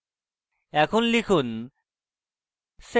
এখন লিখুন: